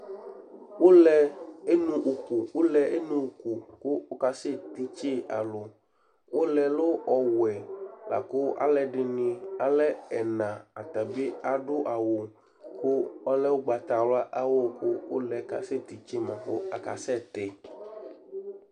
Ʋlɛ eno ʋku kʋ ɔkasɛ titse alu Ɔlɛ ɔlɛ ɔwɛ akʋ alʋɛdìní alɛ ɛna Atabi aɖu awu kʋ ɔlɛ ugbatawla kʋ ʋlɛ kasɛ titse ma kʋ akasɛti